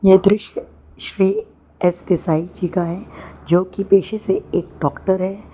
यह दृश्य श्री एस देसाई जी का है जो की पेशे से एक डॉक्टर है।